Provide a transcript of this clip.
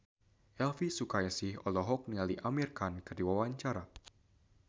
Elvy Sukaesih olohok ningali Amir Khan keur diwawancara